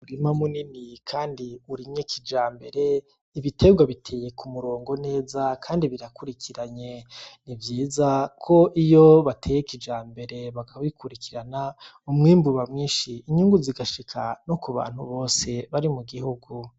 Umurima munini kandi urimye kijambere , ibiterwa biteye ku murongo neza kandi birakurikiranye , ni vyiza ko iyo bateye kijambere bakabikurikirana umwimbu uba mwinshi ,inyungu zigashika no ku bantu bose bari mu gihugu.